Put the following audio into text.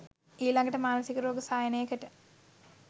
ඊලඟට මානසික රෝග සායනයකට